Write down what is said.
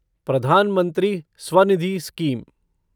प्रधान मंत्री स्वनिधि स्कीम